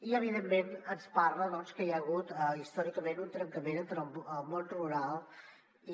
i evidentment ens parla doncs que hi ha hagut històricament un trencament entre el món rural